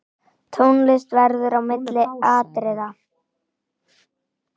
Tónlist verður á milli atriða.